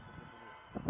Allah, Allah!